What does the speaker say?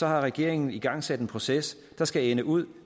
har regeringen igangsat en proces der skal ende ud